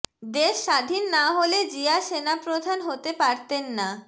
দেশ স্বাধীন না হলে জিয়া সেনাপ্রধান হতে পারতেন না